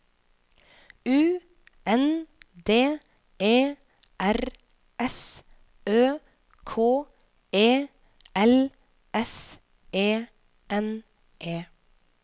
U N D E R S Ø K E L S E N E